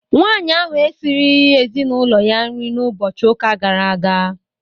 Nwaanyị ahụ esirighi ezinaụlọ ya nri n'ụbọchị ụka gara aga.